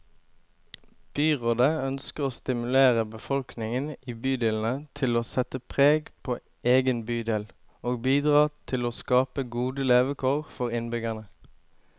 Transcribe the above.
Byrådet ønsker å stimulere befolkningen i bydelene til å sette preg på egen bydel, og bidra til å skape gode levekår for innbyggerne.